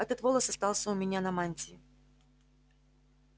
этот волос остался у меня на мантии